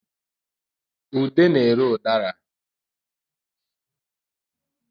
Ude na-ere ụdara